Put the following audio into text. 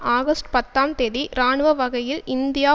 August பத்தாம் தேதி இராணுவ வகையில் இந்தியா